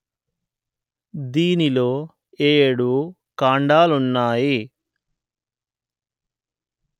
దీనిలో ఏడు కాండాలున్నాయి